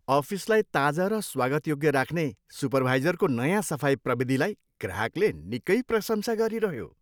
अफिसलाई ताजा र स्वागतयोग्य राख्ने सुपरभाइजरको नयाँ सफाई प्रविधिलाई ग्राहकले निकै प्रशंसा गरिरह्यो।